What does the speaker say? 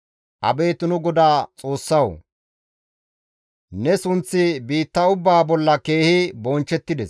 Abeet nu GODAA Xoossawu! Ne sunththi biitta ubbaa bolla keehi bonchchettides.